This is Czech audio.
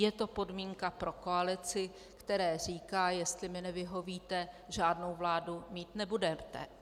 Je to podmínka pro koalici, které říká: jestli mi nevyhovíte, žádnou vládu mít nebudete.